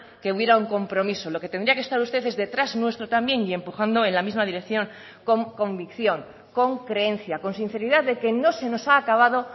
que hubiera un compromiso lo que tendría que estar usted es detrás nuestro también y empujando en la misma dirección con convicción con creencia con sinceridad de que no se nos ha acabado